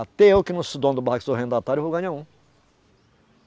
Até eu que não sou dono do barraco, sou arrendatário, vou ganhar um.